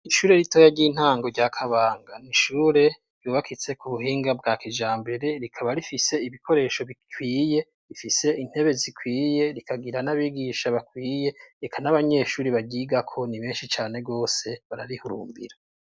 Ishure ritoya ry'intango rya kabanga n'ishure ryubakitse k'ubuhinga bwakijambere rikaba rifise ibikoresho bikwiye, rifise intebe zikwiye, rikagira n'abigisha bakwiye eka n'abanyeshuri baryigako ni benshi cane gose bararihurumbira.